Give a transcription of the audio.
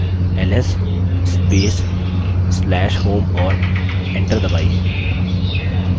ls space/slash home और enter दबाइए